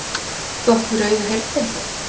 Þú átt við rauðu herdeildina.